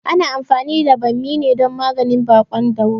Ana anfani da ɓammi ne dan maganin baƙon dauro